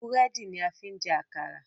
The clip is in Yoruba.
Búrẹ́dì ni a fi ń jẹ́ àkàrà